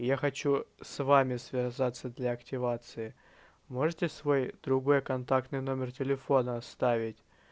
я хочу с вами связаться для активации можете свой другой контактный номер телефона оставить